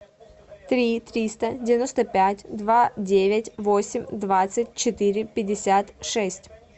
три триста девяносто пять два девять восемь двадцать четыре пятьдесят шесть